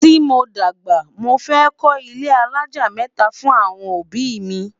tí mọ dàgbà, mọ fẹ ko ilé alájá mẹta fún awọn òbí mi